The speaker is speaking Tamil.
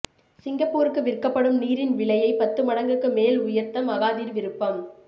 சிங்கப்பூருக்கு விற்கப்படும் நீரின் விலையை பத்து மடங்குக்கு மேல் உயர்த்த மகாதீர் விருப்பம்